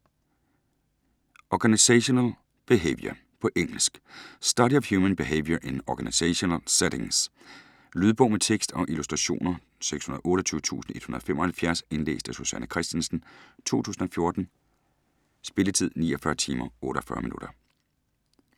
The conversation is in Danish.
Organizational behaviour På engelsk. Study of human behaviour in organizational settings. Lydbog med tekst og illustrationer 628175 Indlæst af Susanne Kristensen, 2014. Spilletid: 49 timer, 48 minutter.